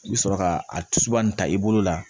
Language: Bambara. I bɛ sɔrɔ ka a tusuba in ta i bolo la